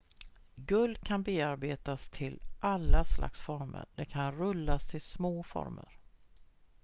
guld kan bearbetas till alla slags former det kan rullas till små former